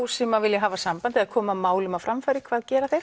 sem vilja hafa samband og koma málum á framfæri hvað gera þeir